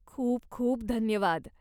खूप खूप धन्यवाद.